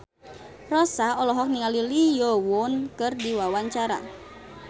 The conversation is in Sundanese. Rossa olohok ningali Lee Yo Won keur diwawancara